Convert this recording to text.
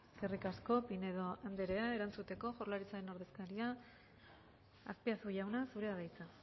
eskerrik asko pinedo andrea erantzuteko jaurlaritzaren ordezkaria azpiazu jauna zurea da hitza